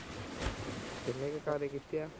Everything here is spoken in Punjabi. ਕਿੰਨੇ ਕ ਕਾਰੇ ਕੀਤੇ ਆ।